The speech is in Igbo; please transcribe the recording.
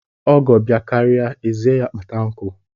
Ọgọ bịakaria, ezie ya kpata nkụ.